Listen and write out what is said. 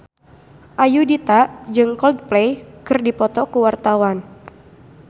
Ayudhita jeung Coldplay keur dipoto ku wartawan